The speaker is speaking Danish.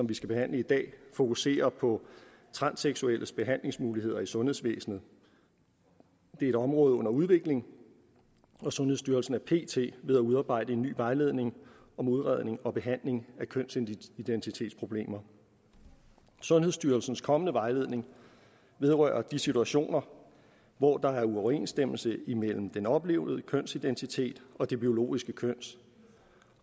vi skal behandle i dag fokuserer på transseksuelles behandlingsmuligheder i sundhedsvæsenet det er et område under udvikling og sundhedsstyrelsen er pt ved at udarbejde en ny vejledning om udredning og behandling af kønsidentitetsproblemer sundhedsstyrelsens kommende vejledning vedrører de situationer hvor der er uoverensstemmelse imellem den oplevede kønsidentitet og det biologiske køn